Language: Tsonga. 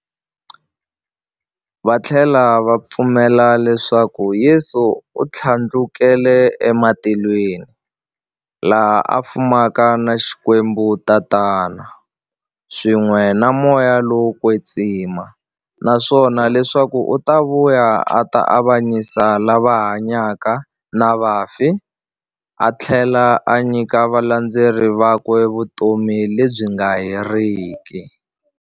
Vathlela va pfumela leswaku Yesu u thlandlukele e matilweni, laha a fumaka na Xikwembu-Tatana, swin'we na Moya lowo kwetsima, naswona leswaku u ta vuya a ta avanyisa lava hanyaka na vafi athlela a nyika valandzeri vakwe vutomi lebyi nga heriki.